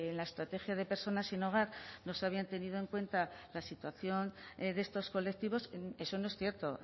la estrategia de personas sin hogar no se habían tenido en cuenta la situación de estos colectivos eso no es cierto